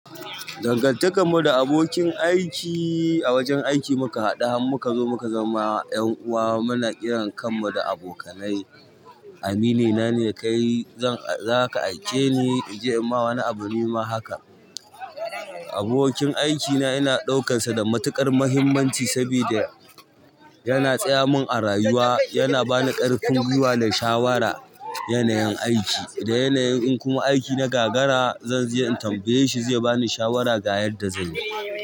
Dangan takan mu da abokin aiki a wajen aiki muka haɗu har mukazo muka zama 'yan uwa muna ƙiran kanmu da abokanai amini na ne kai zaka aike ni in je in ma wani abu nima haka. Abokin aikina ina ɗaukansa da matuƙar mahimmanci saboda yana tsaya mun a rayuwa, yana bani ƙarfin gwiwa da shawara yanayin aiki. Da yanayin in kuma aiki na gagara zan je in tambaye shi zai bani shawara ga yadda zanyi.